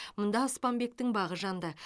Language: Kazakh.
мұнда аспанбектің бағы жанды